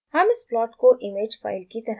हम इस प्लॉट को इमेज फाइल की तरह सेव कर सकते हैं